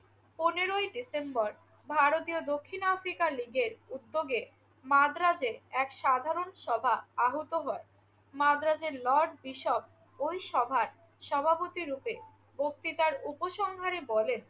পনেরেfই December ভারতীয় দক্ষিণ Africa লীগের উদ্যোগে মাদ্রাজে এক সাধারণ সভা আহূত হয়। মাদ্রাজের লর্ড বিশপ ওই সভার সভাপতিরূপে বক্তৃতার উপসংহারে বলেন